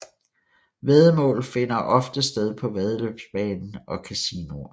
Væddemål finder ofte sted på væddeløbsbanen og casinoer